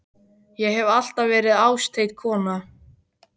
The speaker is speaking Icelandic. Ég hef alltaf verið ástheit kona.